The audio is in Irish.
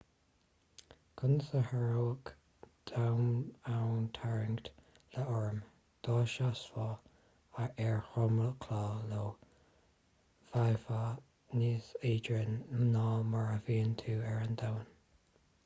conas a tharraingeodh domhantarraingt io orm dá seasfá ar dhromchla io bheifeá níos éadroime ná mar a bhíonn tú ar an domhan